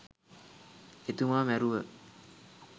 එතුමා මැරුව